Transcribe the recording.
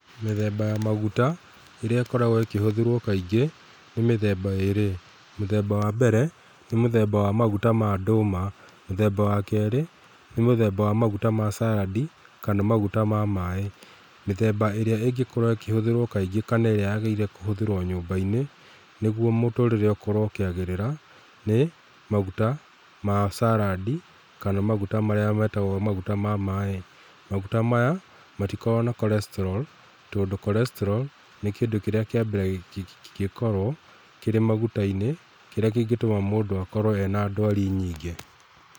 Mĩthemba ya maguta ĩrĩa ĩkoragwo ĩkĩhũthĩrwo kaingĩ nĩ mĩthemba ĩrĩ, mũthemba wa mbere nĩ mũthemba wa maguta ma ndũma, mũthemba wa kerĩ nĩ mũthemba wa maguta ma salad kana maguta ma maaĩ. Mĩthemba ĩrĩa yagĩriirwo kũhũthĩrwo kaingĩ kana ĩrĩa yagĩrĩire kũhũthĩrwo nyũmba-inĩ nĩguo mũtũrĩre ũkorwo ũkĩagĩrĩra nĩ maguta ma salad kana maguta marĩa metagwo maguta ma maaĩ. Maguta maya matikoragwo na cholestrol, tondũ cholestrol nĩkĩndũ kĩrĩa kĩambere kĩngĩkorwo kĩrĩmaguta-inĩ kĩrĩa kĩngĩtũma mũndũ akorwo ena ndwari nyingĩ.